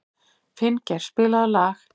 Finngeir, spilaðu lag.